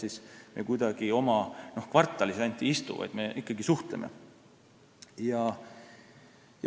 Ega me ei istu ainult oma kvartalis, vaid me suhtleme.